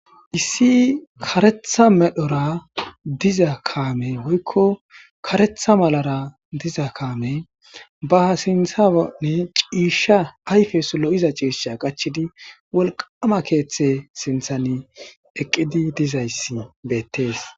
Issi karetha medhora diza kaame woykko karetha malara diza kaame baha sinthaani ciishsha ayfe sulo7iza ciisha qachidi wolqama keeththe sinthan eqqidi dizayssi beettees